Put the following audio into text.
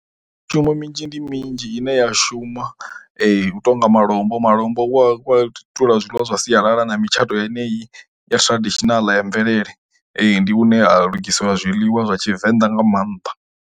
Mishumo minzhi ndi minzhi ine ya shuma hu tou nga malombo, malombo wa wa zwiḽiwa zwa sialala na mitshato yeneyi ya traditional ya mvelele ndi hune ha lugisela zwiḽiwa zwa Tshivenḓa nga maanḓa.